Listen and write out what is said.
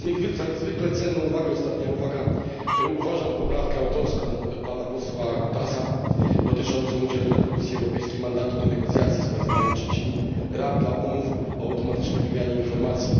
Za niezwykle cenną uwagę ostatnia uwaga uważam poprawkę autorską pana posła Cutaşa dotyczącą udzielenia Komisji Europejskiej mandatu do negocjacji z państwami trzecimi ram umów o automatycznej wymianie informacji.